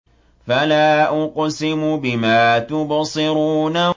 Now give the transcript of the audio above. فَلَا أُقْسِمُ بِمَا تُبْصِرُونَ